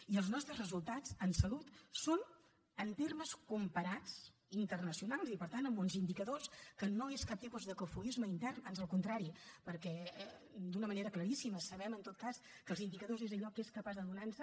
i els nostres resultats en salut són en termes comparats internacionals i per tant amb uns indicadors que no són cap tipus de cofoisme intern ans al contrari perquè d’una manera claríssima sabem en tot cas que els indicadors són allò que és capaç de donar nos